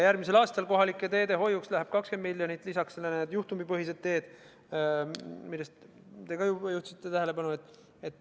Järgmisel aastal kohalike teede hoiuks läheb 20 miljonit, lisaks sellele need juhtumipõhised teed, millele te ka juhtisite tähelepanu.